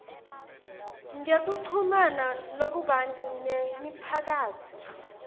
ngekuchumana lokubanti nemiphakatsi